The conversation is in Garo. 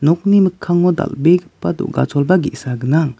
mikkango dal·begipa do·gacholba ge·sa gnang.